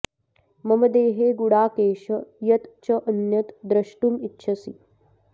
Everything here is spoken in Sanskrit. मम देहे गुडाकेश यत् च अन्यत् द्रष्टुम् इच्छसि